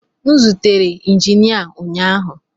M zutere injinia ụnyaahụ